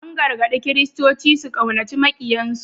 An gargaɗi Kiristoci su ƙaunaci maƙiyansu